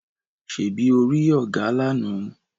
Ṣebí o rí ògà lána?